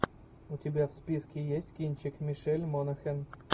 у тебя в списке есть кинчик мишель монахэн